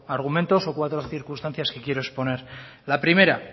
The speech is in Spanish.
argumentos o cuatro circunstancias que quiero exponer la primera